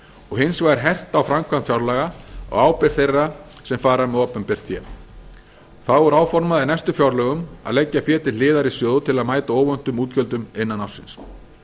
og hins vegar hert á framkvæmd fjárlaga og ábyrgð þeirra sem fara með opinbert fé þá er áformað í næstu fjárlögum að leggja fé til hliðar í sjóð til að mæta óvæntum útgjöldum innan ársins